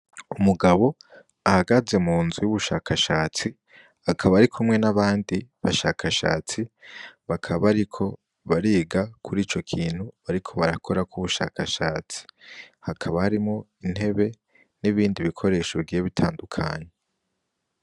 Umugabo ahagaze munzu y'ubushakashatsi ,akaba arikumwe n'abandi bashakashatsi ,bakaba bariko bariga kur'ico kintu bariko barakorako ubushakashatsi, hakaba harimwo intebe ,n'ibindi bikoresho bigiye bitandukanye.